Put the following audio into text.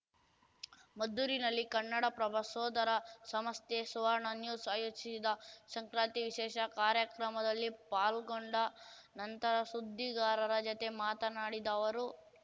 ಮದ್ದೂರಿನಲ್ಲಿ ಕನ್ನಡಪ್ರಭ ಸೋದರ ಸಂಸ್ಥೆ ಸುವರ್ಣ ನ್ಯೂಸ್‌ ಆಯೋಜಿಸಿದ್ದ ಸಂಕ್ರಾಂತಿ ವಿಶೇಷ ಕಾರ್ಯಕ್ರಮದಲ್ಲಿ ಪಾಲ್ಗೊಂಡ ನಂತರ ಸುದ್ದಿಗಾರರ ಜತೆ ಮಾತನಾಡಿದ ಅವರು